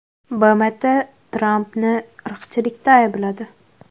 BMT Trampni irqchilikda aybladi.